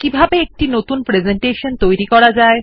কিভাবে একটি নতুন প্রেসেন্টেশন খোলা যায়